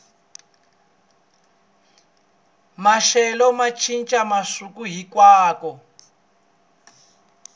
maxelo ma ncinca masiku hinkwawo